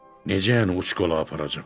Necə, yəni uçkola aparacam?